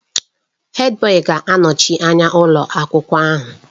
Hèdbọyi ga-anọchi anya ụlọ akwụkwọ ahụ.